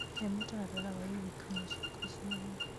he mũtaratara wa iririkania ciakwa ciothe